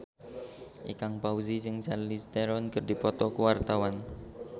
Ikang Fawzi jeung Charlize Theron keur dipoto ku wartawan